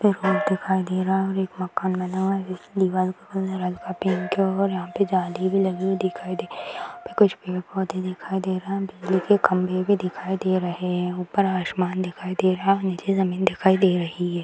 इधर हॉल दिखाई दे रहा है और एक माकन बना हुआ है जिसकी दिवार काले रंग का पेंट किया हुआ है और यहाँ पे जाली भी लगी हुई दिखाई दे रही है | यहाँ पे कुछ पेड़ पौधे भी दिखाई दे रहा है बिजली के खम्भे भी दिखाई दे रहे हैं | ऊपर आसमान दिखाई दे रहा है निचे जमीन दिखाई दे रही है |